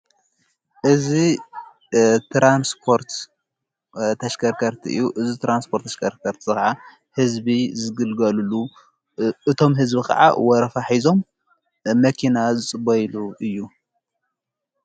እዚ ትራንስፖርት ተሽከርከርቲ እዩ ።እዚ ተራንስፖርት ተሽከርከርቲ ኸዓ ሕዝቢ ዝግልጋሉሉ እዮም ።ሕዝቢ ኸዓ ወረፋ ኂዞም መኪና ዝጽበይሉ እዩ።